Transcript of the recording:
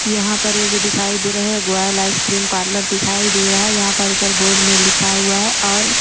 यहां पर ये जो दिखाई दे रहा है गोयल आइसक्रीम पार्लर दिखाई दे रहा है यहां पर ऊपर बोर्ड में लिखा हुआ है और--